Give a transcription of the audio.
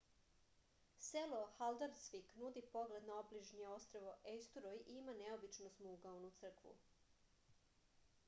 selo haldarsvik nudi pogled na obližnje ostrvo ejsturoj i ima neobičnu osmougaonu crkvu